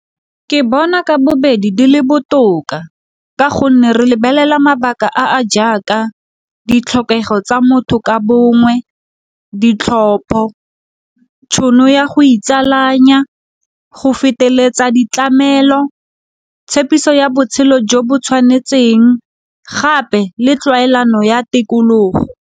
Ke bona ka bobedi di le botoka ka gonne re lebelela mabaka a a jaaka ditlhokego tsa motho ka bongwe, ditlhopho, tšhono ya go itsalanya, go feteletsa ditlamelo, tshepiso ya botshelo jo bo tshwanetsen, g gape le tlwaelana ya tikologo.